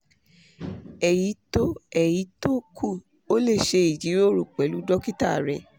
ẹ̀yí tó ẹ̀yí tó kù o lè ṣe ìjíròrò pẹ̀lú dókítà rẹ